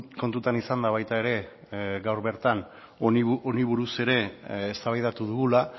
kontutan izanda baita ere gaur bertan honi buruz ere eztabaidatu dugula